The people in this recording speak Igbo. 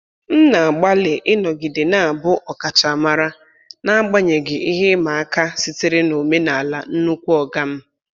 M na-agbalị ịnọgide na-abụ ọkachamara n'agbanyeghị ihe ịma aka sitere n'omenala "nnukwu oga m".